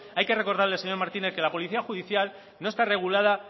hay que recordarle al señor martínez que la policía judicial no está regulada